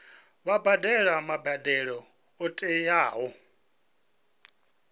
vha badele mbadelo yo tiwaho